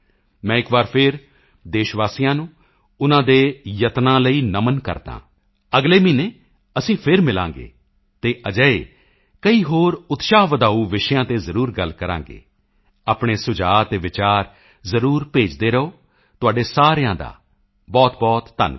ਮੈਂ ਇੱਕ ਵਾਰ ਫਿਰ ਦੇਸ਼ਵਾਸੀਆਂ ਨੂੰ ਉਨ੍ਹਾਂ ਦੇ ਯਤਨਾਂ ਲਈ ਨਮਨ ਕਰਦਾ ਹਾਂ ਅਗਲੇ ਮਹੀਨੇ ਅਸੀਂ ਫਿਰ ਮਿਲਾਂਗੇ ਅਤੇ ਅਜਿਹੇ ਕਈ ਹੋਰ ਉਤਸ਼ਾਹ ਵਧਾਊ ਵਿਸ਼ਿਆਂ ਤੇ ਜ਼ਰੂਰ ਗੱਲ ਕਰਾਂਗੇ ਆਪਣੇ ਸੁਝਾਅ ਅਤੇ ਵਿਚਾਰ ਜ਼ਰੂਰ ਭੇਜਦੇ ਰਹੋ ਤੁਹਾਡੇ ਸਾਰਿਆਂ ਦਾ ਬਹੁਤਬਹੁਤ ਧੰਨਵਾਦ